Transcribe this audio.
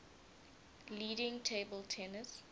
leading table tennis